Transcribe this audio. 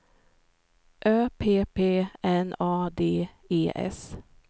Ö P P N A D E S